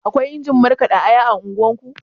Akwai injin markaɗa aya a unguwarku?